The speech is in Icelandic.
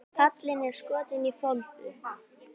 Kallinn er skotinn í Foldu.